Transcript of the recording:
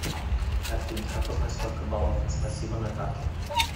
афина как узнать сколько балов спасибо на карте